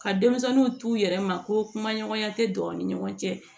Ka denmisɛnninw t'u yɛrɛ ma ko kumaɲɔgɔnya tɛ don u ni ɲɔgɔn cɛ